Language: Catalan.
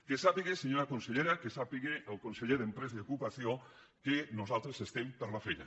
que sàpiga senyora consellera el conseller d’empresa i ocupació que nosaltres estem per la feina